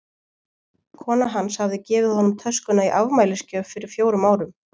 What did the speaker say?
Kona hans hafði gefið honum töskuna í afmælisgjöf fyrir fjórum árum.